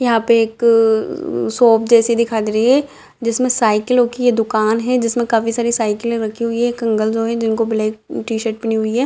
यहाँ पे एक अअ शॉप जैसी दिखाई दे रही है जिसमें साइकिलो की ये दुकान है जिसमे काफी सारे साइकिले रखी हुई है एक अंकल जो हैं जिनको ब्लैक टी-शर्ट पहनी हुई है।